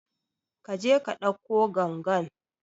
Kaje ka ɗauko gangan